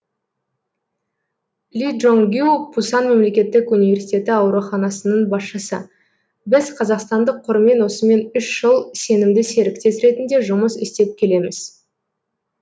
ли чжон гю пусан мемлекеттік университеті ауруханасының басшысы біз қазақстандық қормен осымен үш жыл сенімді серіктес ретінде жұмыс істеп келеміз